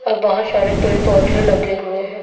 और बहोत सारे पेड़ पौधे लगे हुए हैं।